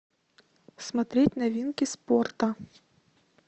смотреть новинки спорта